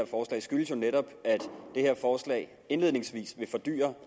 og det skyldes jo netop at det her forslag indledningsvis vil fordyre